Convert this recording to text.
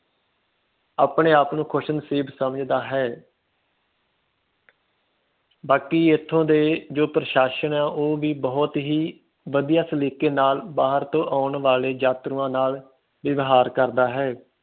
ਆਪਣੇ ਆਪ ਨੂੰ ਖੁਸ਼ਨਸੀਬ ਸਮਝਦਾ ਹੈ ਬਾਕੀ ਇਥੋਂ ਦੇ ਜੋ ਪ੍ਰਸ਼ਾਸ਼ਨ ਹੈ ਉਹ ਵੀ ਬਹੁਤ ਹੀ ਵਧੀਆ ਤਰੀਕੇ ਨਾਲ ਸ਼ਹਿਰ ਚ ਆਉਣ ਵਾਲੇ ਯਾਤਰੂਆਂ ਨਾਲ ਵਏਯਵਹਾਰ ਕਰਦਾ ਹੈ